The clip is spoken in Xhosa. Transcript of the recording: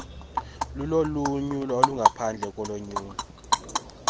lulonyulo olungaphandle kolonyulo